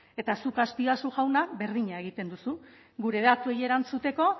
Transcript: eta zuk azpiazu jauna berdina egiten duzu gure datuei erantzuteko